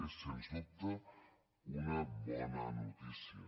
és sens dubte una bona notícia